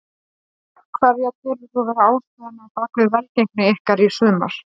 Hverja telur þú vera ástæðuna á bakvið velgengni ykkar í sumar?